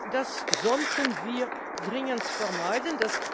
Das sollten wir dringend vermeiden.